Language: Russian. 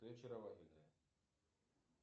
ты очаровательная